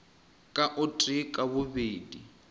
ka o tee ka babedi